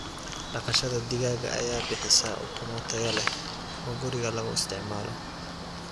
Dhaqashada digaaga ayaa bixisa ukumo tayo leh oo guriga lagu isticmaalo.